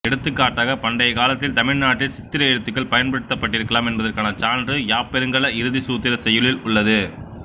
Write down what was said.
எடுத்துக்காட்டாக பண்டைக் காலத்தில் தமிழ் நாட்டில் சித்திர எழுத்துக்கள் பயன்பட்டிருக்கலாம் என்பதற்கான சான்று யாப்பருங்கல இறுதிச்சூத்திரச் செய்யுளில் உள்ளது